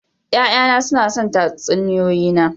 Ya'yana suna son tatsuniyoyi na.